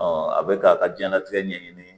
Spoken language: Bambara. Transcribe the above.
a bɛ k'a ka diɲɛlatigɛ ɲɛɲini